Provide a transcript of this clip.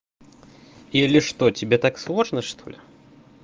или что тебе так сложно что ли